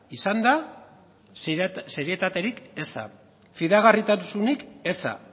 izan da serietaterik eza fidagarritasunik eza